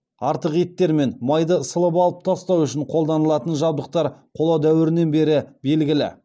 артық еттер мен майды сылып алып тастау үшін қолданылатын жабдықтар қола дәуірінен бері белгілі